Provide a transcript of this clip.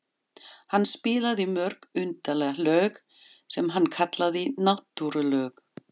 Hann spilaði mörg undarleg lög sem hann kallaði náttúrulög.